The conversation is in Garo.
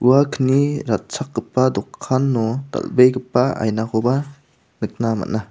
ua kni ratchakgipa dokano dal·begipa ainakoba nikna man·a.